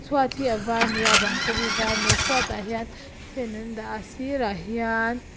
chhuat hi a var ani a a bang pawh hi var ani a chhuat ah hian fan an dah a a sirah hian--